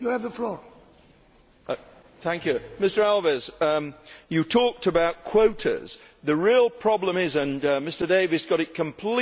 Mr Alves, you talked about quotas. The real problem is that Mr Davies got it completely wrong when he said people want greening.